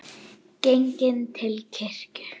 Genginn til kirkju.